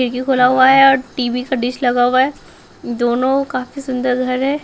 खिड़की खोला हुआ है और टी_वी का डिश लगा हुआ है दोनों काफी सुंदर घर है।